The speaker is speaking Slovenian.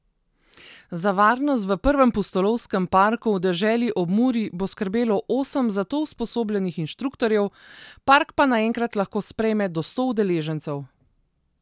Za varnost v prvem pustolovskem parku v deželi ob Muri bo skrbelo osem za to usposobljenih inštruktorjev, park pa naenkrat lahko sprejme do sto udeležencev.